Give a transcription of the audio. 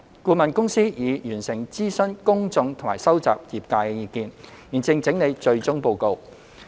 顧問公司已完成諮詢公眾和收集業界意見，現正整理最終報告。